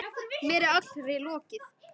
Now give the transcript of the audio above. Mér er allri lokið.